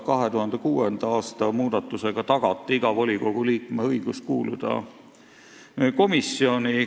2006. aasta muudatusega tagati igale volikogu liikmele õigus kuuluda komisjoni.